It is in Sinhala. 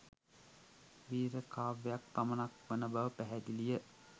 වීර කාව්‍යයක් පමණක් වන බව පැහැදිලිය